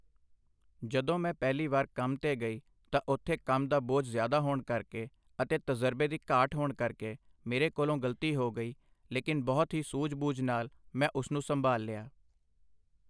ਜਦੋਂ ਮੈਂ ਪਹਿਲੀ ਵਾਰ ਕੰਮ 'ਤੇ ਗਈ, ਤਾਂ ਉੱਥੇ ਕੰਮ ਦਾ ਬੋਝ ਜ਼ਿਆਦਾ ਹੋਣ ਕਰਕੇ ਅਤੇ ਤਜ਼ਰਬੇ ਦੀ ਘਾਟ ਹੋਣ ਕਰਕੇ ਮੇਰੇ ਕੋਲੋ ਗ਼ਲਤੀ ਹੋ ਗਈ ,ਲੇਕਿਨ ਬਹੁਤ ਹੀ ਸੂਝ ਬੂਝ ਨਾਲ ਮੈਂ ਉਸਨੂੰ ਸੰਭਾਲ ਲਿਆ।